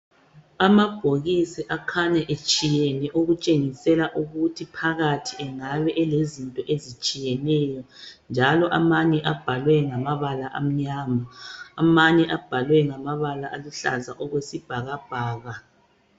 Amabhokisi akhanya etshiyene okutshengisela ukuthi phakathi engabe elezinto ezitshiyeneyo. Njalo amanye abhalwe ngamabala amnyama amanye abhalwe ngamabala uluhlaza okwesibhakabhaka.